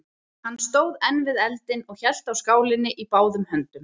Hann stóð enn við eldinn og hélt á skálinni í báðum höndum.